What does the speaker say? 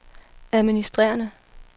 administrerende